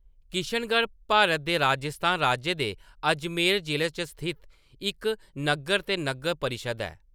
किशनगढ़ भारत दे राजस्थान राज्य दे अजमेर जि'ले च स्थित इक नग्गर ते नग्गर परिशद् ऐ।